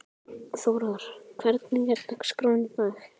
Þórar, hvernig er dagskráin í dag?